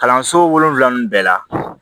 Kalanso wolonwula ninnu bɛɛ la